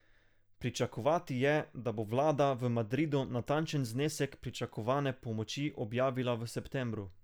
Pričakovati je, da bo vlada v Madridu natančen znesek pričakovane pomoči objavila v septembru.